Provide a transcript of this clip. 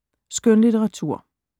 Skønlitteratur